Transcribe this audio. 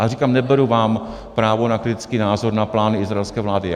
Ale říkám, neberu vám právo na kritický názor na plány izraelské vlády.